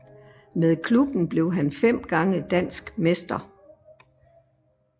Med klubben blev han fem gange dansk mester